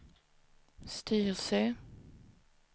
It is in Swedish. Styrsö